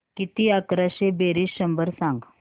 किती अकराशे बेरीज शंभर सांग